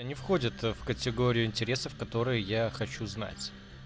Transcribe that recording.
не входят в категорию интересов которые я хочу знать